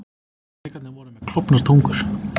Drekarnir voru með klofnar tungur.